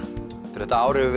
þetta ár hefur